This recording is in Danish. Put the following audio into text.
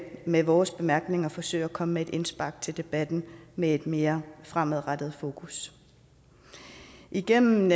med vores bemærkninger forsøge at komme med et indspark til debatten med et mere fremadrettet fokus igennem